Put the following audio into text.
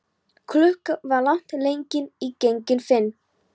Klukkan var langt gengin í fimm.